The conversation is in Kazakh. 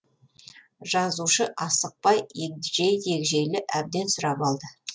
жазушы асықпай егжей тегжейлі әбден сұрап алды